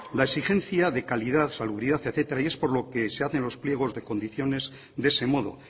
la exigencia de calidad salubridad etcétera y es por lo que se hacen los pliegos de condiciones de ese modo